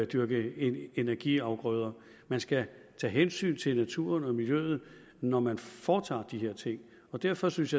dyrke energiafgrøder man skal tage hensyn til naturen og miljøet når man foretager de her ting derfor synes